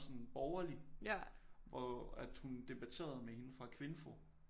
Sådan borgerlig hvor at hun debaterede med hende fra Kvinfo